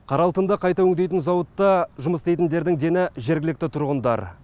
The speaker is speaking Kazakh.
қара алтынды қайта өңдейтін зауытта жұмыс істейтіндердің дені жергілікті тұрғындар